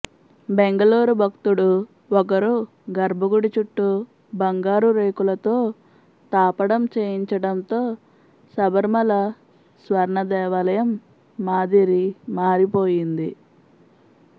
బెంగలూరు భక్తుడు ఒకరు గర్భగుడి చుట్టూ బంగారు రేకులతో తాపడం చేయించడంతో శబరిమల స్వర్ణదేవాలయం మాదిరి మారిపోయింది